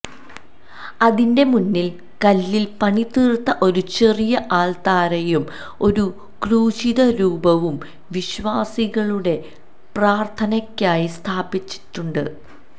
അതിന്റെ മുന്നിൽ കല്ലിൽ പണിതീർത്ത ഒരു ചെറിയ അൾത്താരയും ഒരു ക്രൂശിത രൂപവും വിശ്വാസികളുടെ പ്രാർത്ഥനയ്ക്കായി സ്ഥാപിച്ചിട്ടുണ്ട്